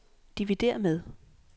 dividér med